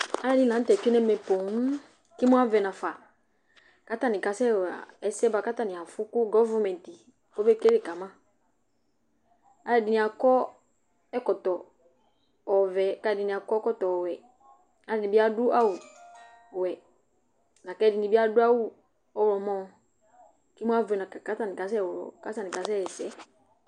Alʋɛdɩnɩ la nʋ tɛ tsue nʋ ɛmɛ poo kʋ imu avɛ nafa kʋ atanɩ kasɛɣa ɛsɛ bʋa kʋ afʋ kʋ gɔvʋmɛntɩ kɔbekele ka ma Alʋɛdɩnɩ akɔ ɛkɔtɔ ɔvɛ kʋ alʋɛdɩnɩ akɔ ɛkɔtɔ ɔwɛ, alʋɛdɩnɩ bɩ adʋ awʋwɛ la kʋ ɛdɩnɩ bɩ adʋ awʋ ɔɣlɔmɔ kʋ imu avɛ nafa kʋ atanɩ ɣlɔ kʋ atanɩ kasɛɣa ɛsɛ